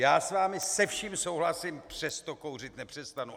Já s vámi se vším souhlasím, přesto kouřit nepřestanu.